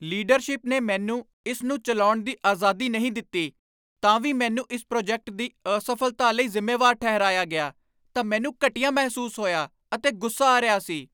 Leadership ਨੇ ਮੈਨੂੰ ਇਸ ਨੂੰ ਚਲਾਉਣ ਦੀ ਆਜ਼ਾਦੀ ਨਹੀਂ ਦਿੱਤੀ ਤਾਂ ਵੀ ਮੈਨੂੰ ਇਸ ਪ੍ਰੋਜੈਕਟ ਦੀ ਅਸਫਲਤਾ ਲਈ ਜ਼ਿੰਮੇਵਾਰ ਠਹਿਰਾਇਆ ਗਿਆ ਤਾਂ ਮੈਨੂੰ ਘਟੀਆ ਮਹਿਸੂਸ ਹੋਇਆ ਅਤੇ ਗੁੱਸਾ ਆ ਰਿਹਾ ਸੀ।